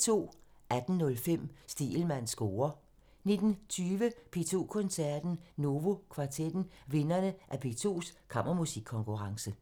18:05: Stegelmanns score (tir) 19:20: P2 Koncerten – Novo kvartetten – vinderne af P2s Kammermusikkonkurrence